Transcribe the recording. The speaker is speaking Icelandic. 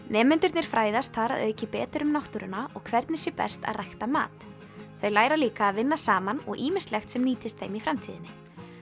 nemendurnir fræðast þar að auki betur um náttúruna og hvernig sé best að rækta mat þau læra líka að vinna saman og ýmislegt sem nýtist þeim í framtíðinni